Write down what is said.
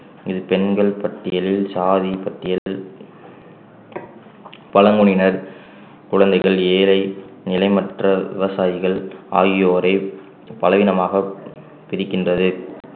இது பெண்கள் பட்டியலில் சாதி பட்டியல் பழங்குடியினர் குழந்தைகள் ஏழை நிலமற்ற விவசாயிகள் ஆகியோரை பலவீனமாக பிரிக்கின்றது